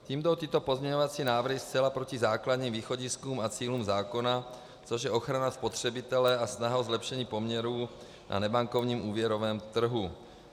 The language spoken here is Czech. Tím jdou tyto pozměňovací návrhy zcela proti základním východiskům a cílům zákona, což je ochrana spotřebitele a snaha o zlepšení poměrů na nebankovním úvěrovém trhu.